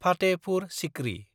Fatehpur Sikri